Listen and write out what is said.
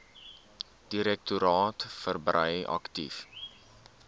direktoraat verbrei aktief